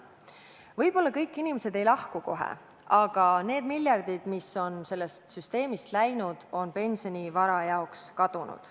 Võib-olla kõik inimesed ei lahku sealt kohe, aga need miljardid, mis on sellest süsteemist läinud, on pensionivara jaoks kadunud.